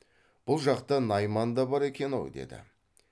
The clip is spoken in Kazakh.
бұл жақта найман да бар екен ау деді